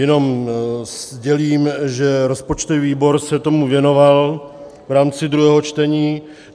Jenom sdělím, že rozpočtový výbor se tomu věnoval v rámci druhého čtení.